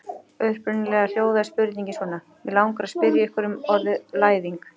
Upprunalega hljóðaði spurningin svona: Mig langar að spyrja ykkur um orðið læðing.